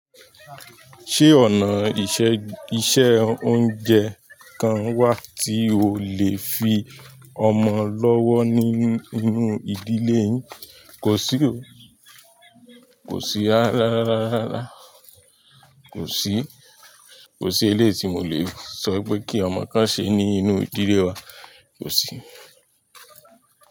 Ṣé ọ̀nà ìṣe oúnjẹ kan wà tí o lè fi ọmọ lọ́wọ́ nínú ìdílé yín? Kò sí o. Kòsí, rárá, rárá, rárá. Kòsí. Kòsí eléyì ti mó lè sọ́ wipé kí ọmọ kan se ní inú ìdílé wa. Kò sí.